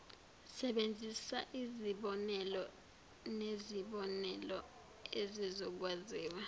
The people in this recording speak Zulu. sebenzisaizibonelo nezibonelo ezizokwaziwa